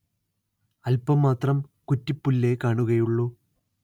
അല്പം മാത്രം കുറ്റിപ്പുല്ലേ കാണുകയുള്ളൂ